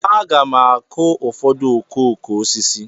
Aga m akụ ụfọdụ okooko osisi.